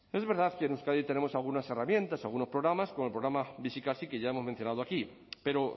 es verdad que en euskadi tenemos algunas herramientas algunos programas como el programa bizikasi que ya hemos mencionado aquí pero